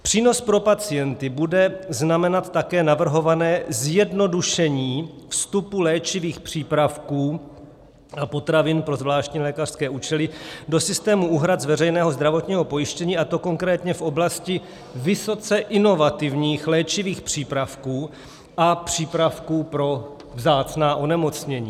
Přínos pro pacienty bude znamenat také navrhované zjednodušení vstupu léčivých příspěvků a potravin pro zvláštní lékařské účely do systému úhrad z veřejného zdravotního pojištění, a to konkrétně v oblasti vysoce inovativních léčivých přípravků a přípravků pro vzácná onemocnění.